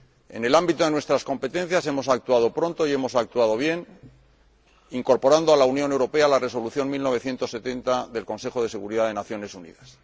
En el ámbito de nuestras competencias, hemos actuado pronto y hemos actuado bien, incorporando a la Unión Europea a la Resolución 1970 del Consejo de Seguridad de las Naciones Unidas.